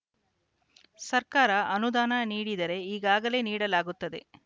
ಸರ್ಕಾರ ಅನುದಾನ ನೀಡಿದರೆ ಈಗಲೇ ನೀಡಲಾಗುತ್ತದೆ